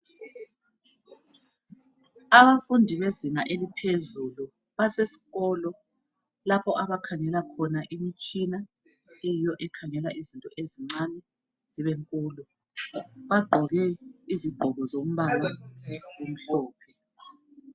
Abafundi bezinga eliphezulu basesikolo lapho abakhangela khona imitshina eyiyo ekhangela izinto ezincane zibenkulu bagqoke izigqoko zombala omhlophe.